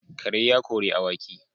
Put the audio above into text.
Kare ya kori awaki